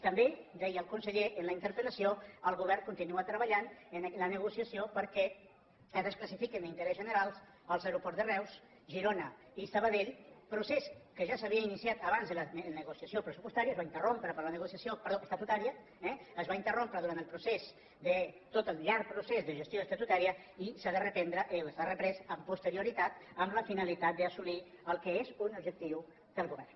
també deia el conseller en la interpel·lació el govern continua treballant en la negociació perquè es desclassifiquin d’interès general els aeroports de reus girona i sabadell procés que ja s’havia iniciat abans de la negociació estatutària es va interrompre per la negociació es va interrompre durant el procés tot el llarg procés de gestió estatutària i s’ha de reprendre i s’ha reprès amb posterioritat amb la finalitat d’assolir el que és un objectiu del govern